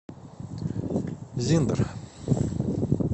зиндер